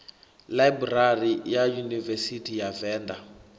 ḽaibrari ya yunivesithi ya venḓa